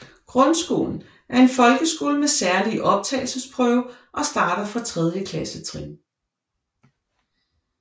Grundskolen er en folkeskole med særlig optagelsesprøve og starter fra tredje klassetrin